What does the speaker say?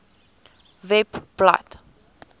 webblad